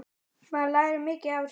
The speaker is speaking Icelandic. Maður lærir mikið af þessu.